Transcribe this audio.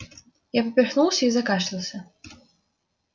я поперхнулся и закашлялся